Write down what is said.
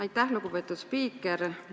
Aitäh, lugupeetud spiiker!